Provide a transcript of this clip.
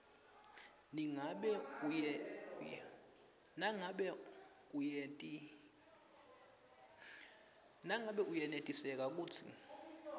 nangabe uyenetiseka kutsi